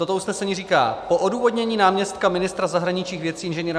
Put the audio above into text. Toto usnesení říká: Po odůvodnění náměstka ministra zahraničních věcí Ing.